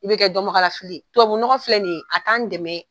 I bɛ kɛ dɔnbagalafili ye, tubabunɔgɔ filɛ nin ye a'an dɛmɛ.